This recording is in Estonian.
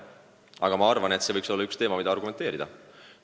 Aga see võiks olla üks teema, mille üle diskuteerida.